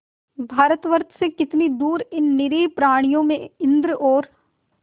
भारतवर्ष से कितनी दूर इन निरीह प्राणियों में इंद्र और